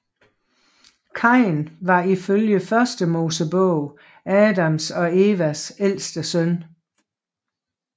Kain var ifølge Første Mosebog Adams og Evas ældste søn